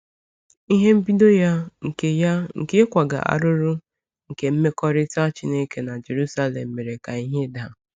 Ihe mbido ya nke ya nke ịkwaga arụrụ nke mmekọrịta Chineke na Jerusalem mere ka ihe daa.